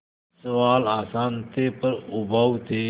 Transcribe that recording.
सवाल आसान थे पर उबाऊ थे